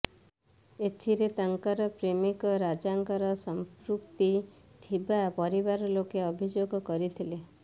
ଏଥିରେ ତାଙ୍କର ପ୍ରେମିକ ରାଜାଙ୍କର ସଂପୃକ୍ତି ଥିବା ପରିବାର ଲୋକ ଅଭିଯୋଗ କରିଥିଲେ